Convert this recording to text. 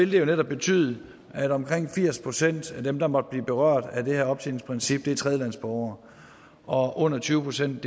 vil betyde at omkring firs procent af dem der måtte blive berørt af det her optjeningsprincip er tredjelandsborgere og under tyve procent